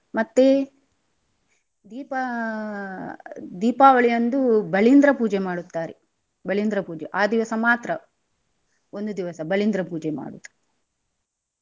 ಮತ್ತೆ ದೀಪಾ ದೀಪಾವಳಿಯಂದು ಬಲಿಂದ್ರ ಪೂಜೆ ಮಾಡುತ್ತಾರೆ ಬಲಿಂದ್ರ ಪೂಜೆ ಅ ದಿವಸ ಮಾತ್ರ ಒಂದು ದಿವಸ ಬಲಿಂದ್ರ ಪೂಜೆ ಮಾಡುದು.